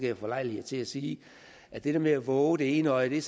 jeg få lejlighed til at sige at det der med at vove det ene øje